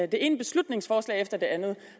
det ene beslutningsforslag efter det andet